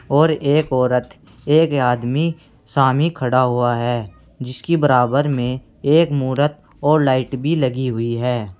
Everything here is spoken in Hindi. और एक औरत एक आदमी सामे खड़ा हुआ है जिसकी बराबर में एक मुरत और लाइट भी लगी हुई है।